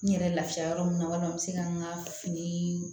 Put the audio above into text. N yɛrɛ lafiya yɔrɔ min na walima n bɛ se ka n ka fini